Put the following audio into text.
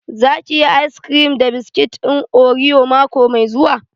Za ki yi ayis kirim da biskit ɗin oriyo mako mai zuwa?